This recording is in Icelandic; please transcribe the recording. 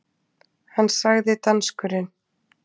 Hann sagði, danskurinn